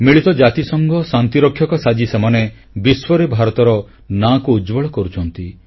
ମିଳିତ ଜାତିସଂଘ ଶାନ୍ତିରକ୍ଷକ ସାଜି ସେମାନେ ବିଶ୍ୱରେ ଭାରତର ନାଁକୁ ଉଜ୍ଜ୍ୱଳ କରୁଛନ୍ତି